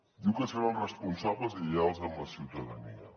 diu que seran responsables i lleials amb la ciutadania